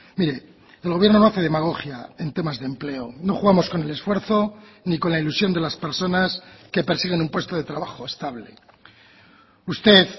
mire el gobierno no hace demagogia en temas de empleo no jugamos con el esfuerzo ni con la ilusión de las personas que persiguen un puesto de trabajo estable usted